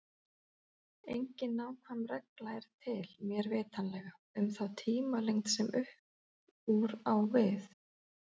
Engin nákvæm regla er til, mér vitanlega, um þá tímalengd sem upp úr á við.